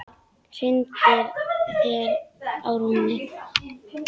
Hrindir mér á rúmið.